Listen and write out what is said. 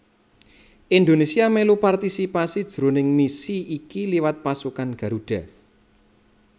Indonésia mèlu partisipasi jroning misi iki liwat Pasukan Garuda